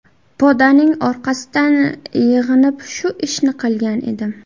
Podaning orqasidan yig‘inib shu ishni qilgan edim.